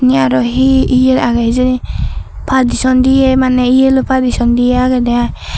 ini araw hi ye agey hijeni padison diye maneh ye loi padison diye agedey i.